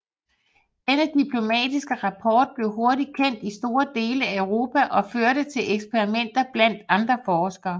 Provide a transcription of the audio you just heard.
Denne diplomatiske rapport blev hurtig kendt i store dele af Europa og førte til eksperimenter blandt andre forskere